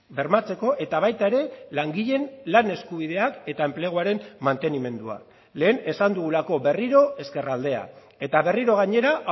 bermatzeko eta baita ere langileen lan eskubideak eta enpleguaren mantenimendua lehen esan dugulako berriro ezkerraldea eta berriro gainera